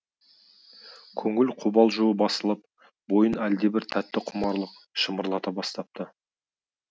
көңіл қобалжуы басылып бойын әлдебір тәтті құмарлық шымырлата бастапты